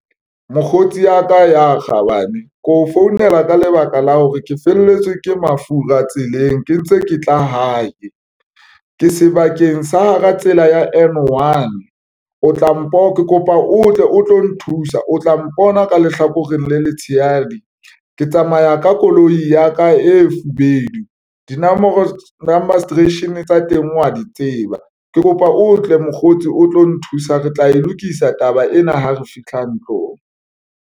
Mokgotsi ya ka ya kgabane ke o founela ka lebaka la hore ke felletswe ke mafura tseleng, ke ntse ke tla hae ke sebakeng sa hara tsela ya N1 o tla kopa o tle o tlo nthusa, o tla mpona ka lehlakoreng le letshehadi. Ke tsamaya ka koloi ya ka e fobedu dinomoro number registeration tsa teng wa di tseba, ke kopa o tle mokgotsi o tlo nthusa. Re tla e lokisa taba ena ha re fihla ntlong.